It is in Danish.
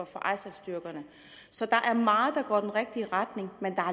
for isaf styrkerne så der er meget der går i den rigtige retning men der